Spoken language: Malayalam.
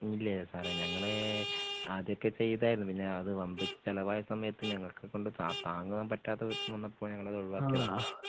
ഇല്ല സാറേ ഞങ്ങള് ആദ്യമൊക്കെ ചെയ്തായിരുന്നു പിന്നെ അത് വമ്പിച്ച ചിലവായ സമയത്ത് ഞങ്ങളെയൊക്കെ കൊണ്ട് താ താങ്ങാൻ പറ്റാത്ത വിധത്തിൽ വന്നപ്പോ ഞങ്ങളത് ഒഴിവാക്കിയതാ